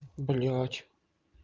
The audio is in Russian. блядь